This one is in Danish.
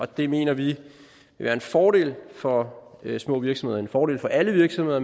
det mener vi vil være en fordel for små virksomheder en fordel for alle virksomheder